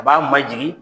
A b'a majigin